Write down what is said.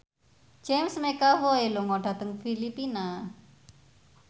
James McAvoy lunga dhateng Filipina